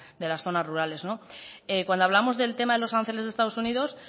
de las zonas rurales cuando hablamos del tema de los aranceles de estados unidos